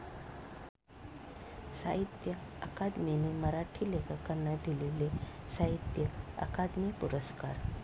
साहित्य अकादमीने मराठी लेखकांना दिलेले साहित्य अकादमी पुरस्कार.